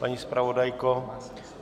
Paní zpravodajko?